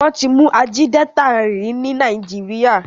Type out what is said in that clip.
Wón tí mú Ajídétà rí ní Nàìjíríà.